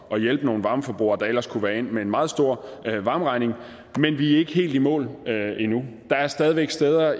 at hjælpe nogle varmeforbrugere der ellers kunne være endt med en meget stor varmeregning men vi er ikke helt i mål endnu der er stadig væk steder